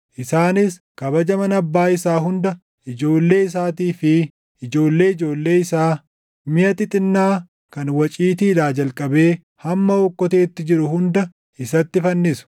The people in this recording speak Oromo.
Isaanis kabaja mana abbaa isaa hunda, ijoollee isaatii fi ijoollee ijoollee isaa, miʼa xixinnaa kan waciitiidhaa jalqabee hamma okkoteetti jiru hunda isatti fannisu.”